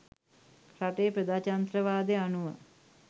රටේ ප්‍රජාතන්ත්‍රවාදය අනුව